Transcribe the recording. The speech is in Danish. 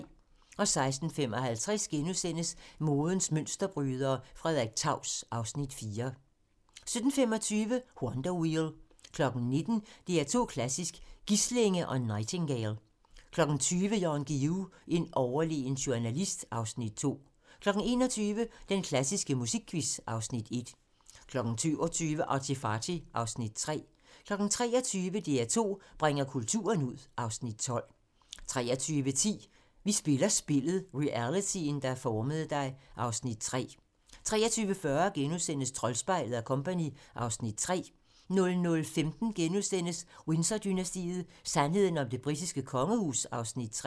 16:55: Modens mønsterbrydere: Frederik Taus (Afs. 4)* 17:25: Wonder Wheel 19:00: DR2 Klassisk: Gislinge & Nightingale 20:00: Jan Guillou - en overlegen journalist (Afs. 2) 21:00: Den klassiske musikquiz (Afs. 1) 22:00: ArtyFarty (Afs. 3) 23:00: DR2 bringer kulturen ud (Afs. 12) 23:10: Vi spiller spillet - realityen, der formede dig (Afs. 3) 23:40: Troldspejlet & Co. (Afs. 3)* 00:15: Windsor-dynastiet: Sandheden om det britiske kongehus (Afs. 3)*